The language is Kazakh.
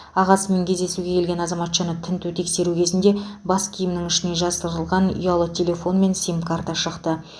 ағасымен кездесуге келген азаматшаны тінту тексеру кезінде бас киімінің ішіне жасырылған ұялы телефон мен сим карта шықты